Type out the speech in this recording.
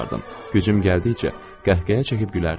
Gücüm gəldikcə qəhqəhə çəkib gülərdim.